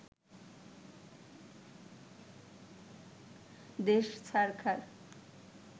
দেশ ছারখার